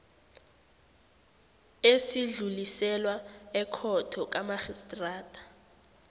esidluliselwa ekhotho kamarhistrada